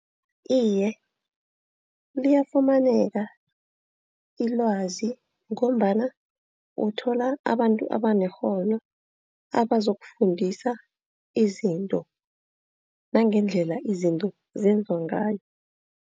Iye liyafumaneka ilwazi ngombana uthola abantu abanekghono abazokufundisa izinto, nangendlela izinto zenziwa ngayo.